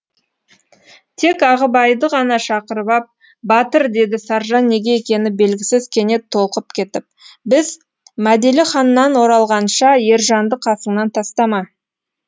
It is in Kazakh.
тек ағыбайды ғана шақырып ап батыр деді саржан неге екені белгісіз кенет толқып кетіп біз мәделіханнан оралғанша ержанды қасыңнан тастама